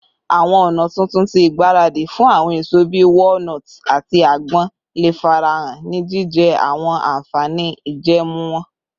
Awọn ọna tuntun ti igbaradi fun awọn eso bii walnuts ati agbon le farahan, ni jijẹ awọn anfani ijẹẹmu wọn